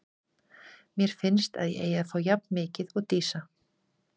Mér finnst að ég eigi að fá jafn mikið og Dísa.